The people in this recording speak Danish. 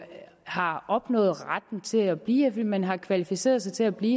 har opnået retten til at blive fordi man har kvalificeret sig til at blive